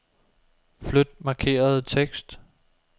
Flyt markerede tekst.